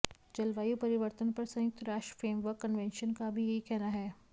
जलवायु परिवर्तन पर संयुक्त राष्ट्र फ्रेमवर्क कन्वेंशन का भी यही कहना है